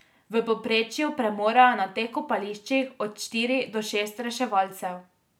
V povprečju premorejo na teh kopališčih od štiri do šest reševalcev.